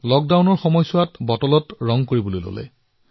লকডাউনৰ সময়ছোৱাত তেওঁ বটলতো ছবি অংকন কৰিবলৈ আৰম্ভ কৰিলে